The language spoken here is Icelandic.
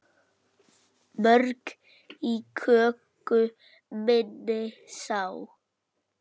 Mörg í köku minni sá.